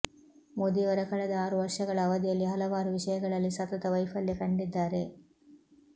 ಮೋದಿಯವರ ಕಳೆದ ಆರು ವರ್ಷಗಳ ಅವಧಿಯಲ್ಲಿ ಹಲವಾರು ವಿಷಯಗಳಲ್ಲಿ ಸತತ ವೈಫಲ್ಯ ಕಂಡಿದ್ದಾರೆ